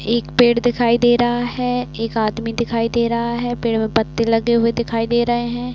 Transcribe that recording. एक पेड़ दिखाई दे रहा है। एक आदमी दिखाई दे रहा है। पेड़ पे पत्ते लगे दिखाई दे रहे हैं।